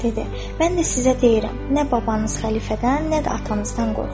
Mən də sizə deyirəm, nə babanız xəlifədən, nə də atanızdan qorxmuram.